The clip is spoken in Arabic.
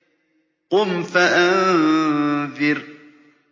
قُمْ فَأَنذِرْ